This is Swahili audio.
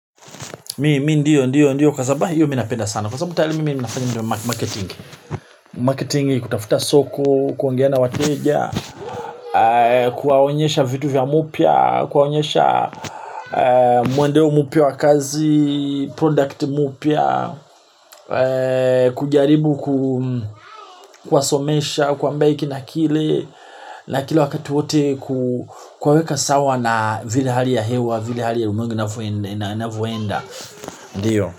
Kwa sababu hio mi napenda sana kwa sababu mimi nimefanya marketing marketing ni kutafuta soko kuongea na wateja kuwaonyesha vitu vya mpya kuwaonyesha mwendeo mpya wa kazi product mpya kujaribu kuwasomesha kuambia hiki na kile. Na kila wakati wote ku kuwaweka sawa na zile hali ya hewa vile hali ya ulimwengu inavyoenda ndiyo.